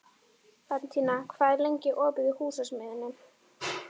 Bentína, hvað er lengi opið í Húsasmiðjunni?